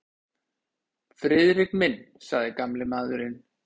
Friðrik minn sagði gamli maðurinn.